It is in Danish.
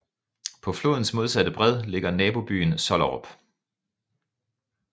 På flodens modsatte bred ligger nabobyen Sollerup